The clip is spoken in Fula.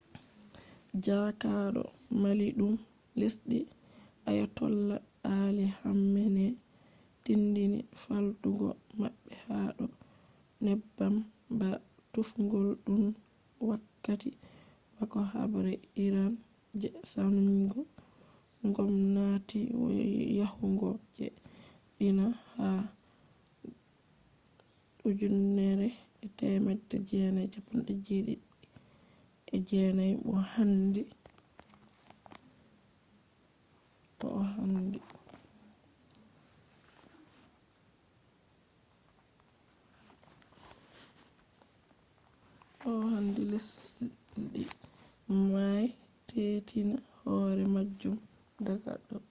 jaakaado maliiɗum lesdi ayatollah ali khamenei tinndini faaltugo maɓɓe ha do neebbam ba tuufgol” tun wakkati bako haɓre iran je sannjugo ngomnati yahugo je dina ha 1979 bo handi lesdi may teetina hore majum daga do